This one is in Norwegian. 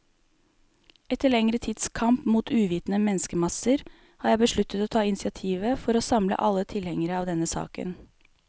Etter lengre tids kamp mot uvitende menneskemasser, har jeg besluttet å ta initiativet for å samle alle tilhengere av denne saken.